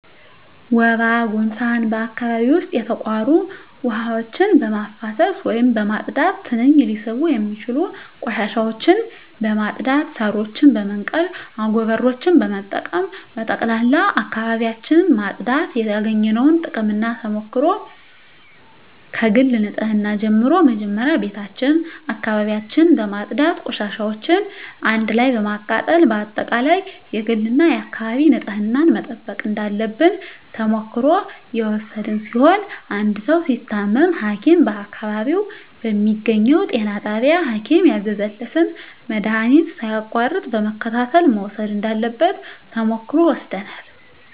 ወባ ጉንፋን በአካባቢው ዉስጥ የተቋሩ ዉሀዎችን በማፋሰስ ወይም በማፅዳት ትንኝ ሊስቡ የሚችሉ ቆሻሻዎችን በማፅዳት ሳሮችን በመንቀል አጎበሮችን በመጠቀም በጠቅላላ አካባቢዎችን ማፅዳት ያገኘነዉ ጥቅምና ተሞክሮ ከግል ንፅህና ጀምሮ መጀመሪያ ቤታችን አካባቢያችን በማፅዳት ቆሻሻዎችን አንድ ላይ በማቃጠል በአጠቃላይ የግልና የአካባቢ ንፅህናን መጠበቅ እንዳለብን ተሞክሮ የወሰድን ሲሆን አንድ ሰዉ ሲታመም ሀኪም በአካባቢው በሚገኘዉ ጤና ጣቢያ ሀኪም ያዘዘለትን መድሀኒት ሳያቋርጥ በመከታተል መዉሰድ እንዳለበት ተሞክሮ ወስደናል